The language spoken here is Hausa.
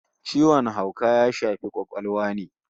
Ciwon hauka ya shafi kwakwalwa ne